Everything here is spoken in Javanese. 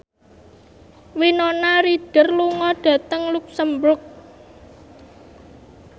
Winona Ryder lunga dhateng luxemburg